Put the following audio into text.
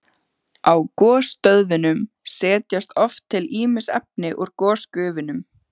Á gosstöðvunum setjast oft til ýmis efni úr gosgufunum.